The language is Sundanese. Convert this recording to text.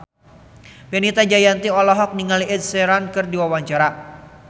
Fenita Jayanti olohok ningali Ed Sheeran keur diwawancara